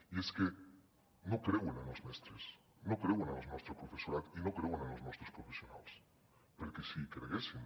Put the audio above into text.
i és que no creuen en els mestres no creuen en el nostre professorat i no creuen en els nostres professionals perquè si hi creguessin